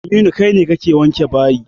Aminu, kai ne kake wanke a bayi.